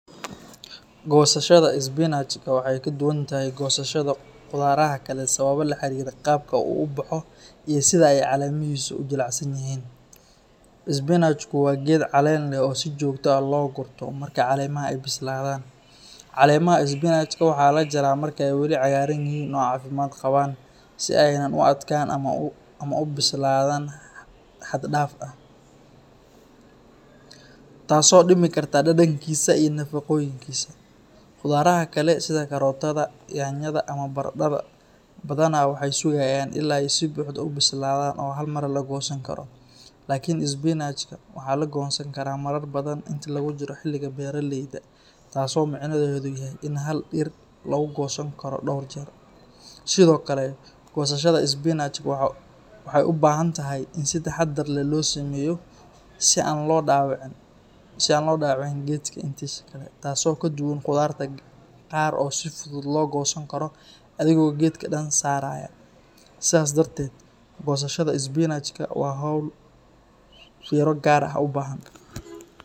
Goosashada isbinajka waxay ka duwan tahay goosashada khudaaraha kale sababo la xiriira qaabka uu u baxo iyo sida ay caleemihiisu u jilicsan yihiin. Isbinajku waa geed caleen leh oo si joogto ah loo gurto marka caleemaha ay bislaadaan. Caleemaha isbinajka waxaa la jaraa marka ay weli cagaaran yihiin oo caafimaad qabaan, si aanay u adkaan ama u bislaadaan xad dhaaf ah, taas oo dhimi karta dhadhankiisa iyo nafaqooyinkiisa. Khudaaraha kale sida karootada, yaanyada, ama baradhada badanaa waxay sugayaan illaa ay si buuxda u bislaadaan oo hal mar la goosan karo. Laakiin isbinajka waxaa la goostaa marar badan intii lagu jiro xilliga beeraleyda, taasoo micnaheedu yahay in hal dhir lagu goosan karo dhowr jeer. Sidoo kale, goosashada isbinajka waxay u baahan tahay in si taxadar leh loo sameeyo si aan loo dhaawicin geedka intiisa kale, taasoo ka duwan khudaarta qaar oo si fudud loo goosan karo adigoo geedka dhan saaraya. Sidaas darteed, goosashada isbinajka waa hawl fiiro gaar ah u baahan.